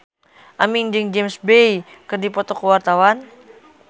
Aming jeung James Bay keur dipoto ku wartawan